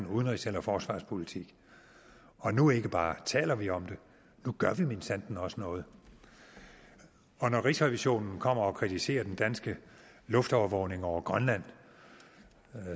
udenrigs eller forsvarspolitik nu ikke bare taler vi om det nu gør vi minsandten også noget når rigsrevisionen kommer og kritiserer den danske luftovervågning over grønland